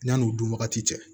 Yanni o dun wagati cɛ